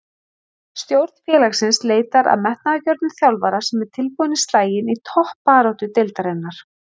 Stjórn félagsins leitar að metnaðargjörnum þjálfara sem er tilbúinn í slaginn í toppbaráttu deildarinnar.